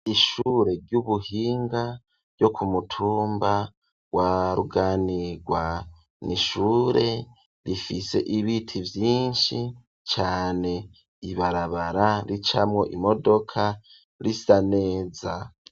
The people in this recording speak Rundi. Ishure ry'ubuhinga ryo ku mutumba wa Ruganirwa, n'ishure rifise ibiti vyinshi cane, ibarabara ricamwo imodoka risa neza.